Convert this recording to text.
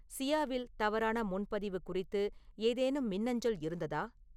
சியாவில் தவறான முன்பதிவு குறித்து ஏதேனும் மின்னஞ்சல் இருந்ததா